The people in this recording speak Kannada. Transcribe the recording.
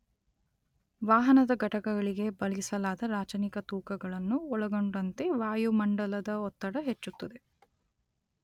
ವಾಹನದ ಘಟಕಗಳಿಗೆ ಬಳಸಲಾದ ರಾಚನಿಕ ತೂಕಗಳನ್ನು ಒಳಗೊಂಡಂತೆ ವಾಯುಮಂಡಲದ ಒತ್ತಡ ಹೆಚ್ಚುತ್ತದೆ